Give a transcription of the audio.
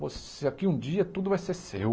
Você aqui um dia tudo vai ser seu.